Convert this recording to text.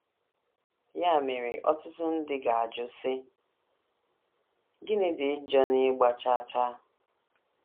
Ya mere, ọtụtụ ndị ga - ajụ, sị, ‘ Gịnị dị njọ n’ịgba chaa chaa? ’